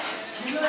Bu nədi?